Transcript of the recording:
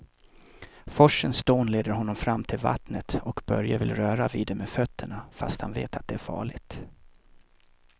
Forsens dån leder honom fram till vattnet och Börje vill röra vid det med fötterna, fast han vet att det är farligt.